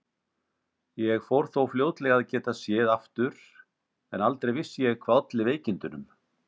Ég fór þó fljótlega að geta séð aftur en aldrei vissi ég hvað olli veikindunum.